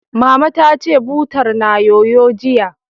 Mama ta ce, butar na yoyo, jiya